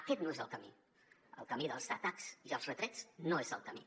aquest no és el camí el camí dels atacs i els retrets no és el camí